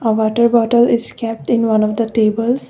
a water bottle is kept in one of the tables.